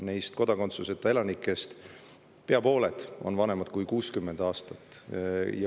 Neist kodakondsuseta elanikest pea pooled on vanemad kui 60 aastat.